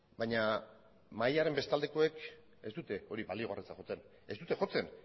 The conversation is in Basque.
baina mahaiaren beste aldekoek ez dute hori baliogarritzat jotzen ez dute jotzen